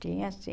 Tinha sim.